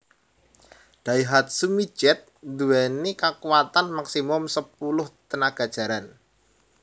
Daihatsu Midget nduweni kakuwatan maksimum sepuluh tenaga jaran